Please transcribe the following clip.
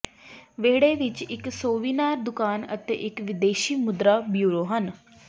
ਵਿਹੜੇ ਵਿਚ ਇਕ ਸੋਵੀਨਾਰ ਦੁਕਾਨ ਅਤੇ ਇੱਕ ਵਿਦੇਸ਼ੀ ਮੁਦਰਾ ਬਿਊਰੋ ਹਨ